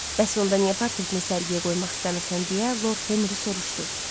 Bəs onda niyə portretini sərgiyə qoymaq istəmirsən deyə Lord Henri soruşdu.